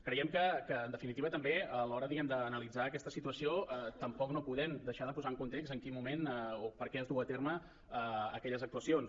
creiem que en definitiva també a l’hora d’analitzar aquesta situació tampoc no podem deixar de posar en context en quin moment o per què es duen a terme aquelles actuacions